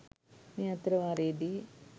මේ අතර වාරයේදි